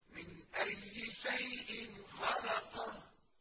مِنْ أَيِّ شَيْءٍ خَلَقَهُ